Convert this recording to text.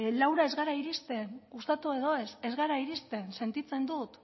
laura ez gara irizten gustatu edo ez ez gara iristen sentitzen dut